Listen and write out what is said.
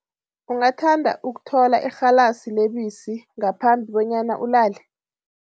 Ungathanda ukuthola irhalasi lebisi ngaphambi bonyana ulale?